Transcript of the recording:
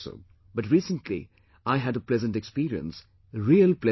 But recently I had a pleasant experience, real pleasant experience